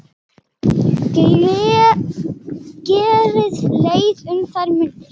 Gerði leið um þær mundir.